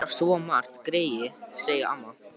Þau heyra svo margt, greyin, sagði amma.